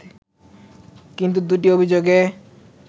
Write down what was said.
কিন্তু দু’টি অভিযোগে